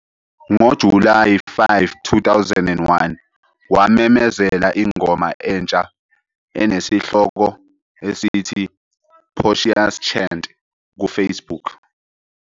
NgoJulayi 5, 2021, wamemezela ingoma entsha enesihloko esithi "Portia's Chant" ku-Facebook.